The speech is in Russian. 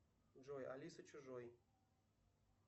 джой алиса чужой